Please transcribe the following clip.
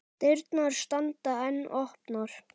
Dyrnar standa enn opnar.